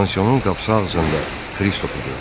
Pansionun qapısı ağzında Kristofu gördü.